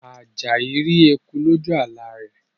Ajayi rí ẹkùn loju àlá rẹ̀